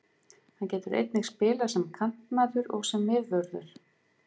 Hann getur einnig spilað sem kantmaður og sem miðvörður.